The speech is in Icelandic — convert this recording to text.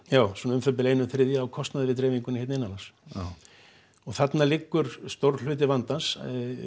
já svona um það bil einn þriðji á kostnaði við dreifingu hér innanlands já og þarna liggur stór hluti vandans